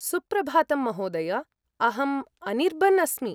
सुप्रभातं महोदय, अहम् अनिर्बन् अस्मि।